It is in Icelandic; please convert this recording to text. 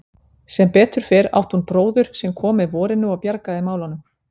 Sem betur fer átti hún bróður sem kom með vorinu og bjargaði málunum.